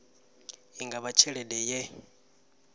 i nga vha tshelede ye